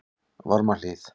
Varmahlíð